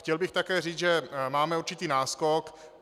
Chtěl bych také říct, že máme určitý náskok.